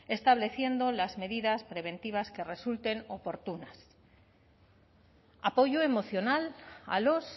estableciendo las medidas preventivas que resulten oportunas apoyo emocional a los